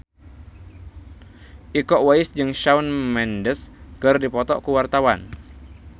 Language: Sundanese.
Iko Uwais jeung Shawn Mendes keur dipoto ku wartawan